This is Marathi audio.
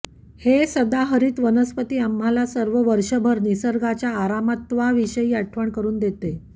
हे सदाहरित वनस्पती आम्हाला सर्व वर्षभर निसर्गाच्या अमरत्वाविषयी आठवण करून देते